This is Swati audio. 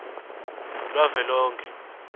lwavelonkhe